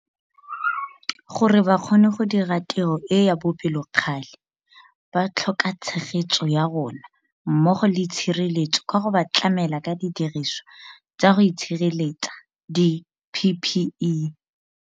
Gore ba kgone go dira tiro e ya bopelokgale ba tlhokatshegetso ya rona mmogo le tshireletso ka go ba tlamela ka didirisiwa tsa go itshireletsa, di-PPE.